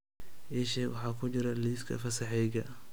ii sheeg waxa ku jira liiska fasaxayga